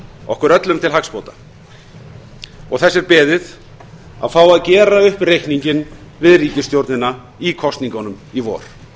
okkur öllum til hagsbóta þess er beðið að fá að gera upp reikninginn við ríkisstjórnina í kosningunum í vor